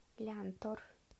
лянтор